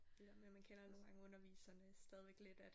Det der med man kender nogen gange underviserne stadig lidt at